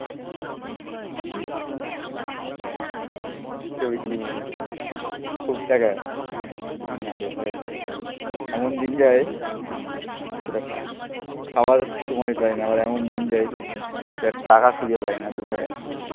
তোর কি মনে হও? খুব টাকা না রে ভাই. এমন দিন যায়. খাওয়ার সময় পাই না. আবার এমন দিন যাই. যার টাকা খুঁজে পাই না. কোথায় আছে?